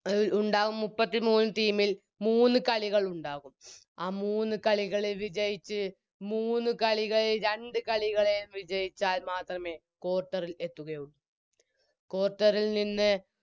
ൽ ഉണ്ടാവും മുപ്പത്തിമൂന്ന് Team ൽ മൂന്ന് കളികൾ ഉണ്ടാകും ആ മൂന്ന് കളികളിൽ വിജയിച്ച് മൂന്ന് കളികൾ രണ്ട് കളികളെ വിജയിച്ചാൽ മാത്രമേ Quarter ൽ എത്തുകയുള്ളൂ Quarter ൽ നിന്ന്